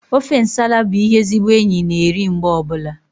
Ofe nsala bụ ihe ezigbo enyi na-eri mgbe ọbụla